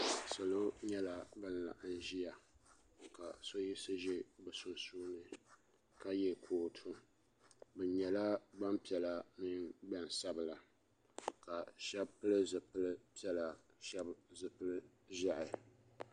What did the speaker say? Salo nyɛla ban laɣim ʒia ka so yiɣisi ʒɛ bɛ sunsuuni ka ye kootu bɛ nyɛla gbampiɛla ni gbansabila ka sheba pili zipili piɛla sheba zipil'ʒehi.